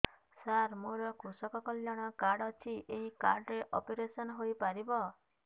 ସାର ମୋର କୃଷକ କଲ୍ୟାଣ କାର୍ଡ ଅଛି ଏହି କାର୍ଡ ରେ ଅପେରସନ ହେଇପାରିବ